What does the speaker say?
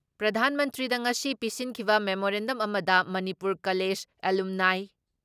ꯄ꯭ꯔꯙꯥꯥꯟ ꯃꯟꯇ꯭ꯔꯤꯗ ꯉꯁꯤ ꯄꯤꯁꯤꯟꯈꯤꯕ ꯃꯦꯃꯣꯔꯦꯟꯗꯝ ꯑꯃꯗ ꯃꯅꯤꯄꯨꯔ ꯀꯂꯦꯖ ꯑꯦꯂꯨꯝꯅꯥꯏ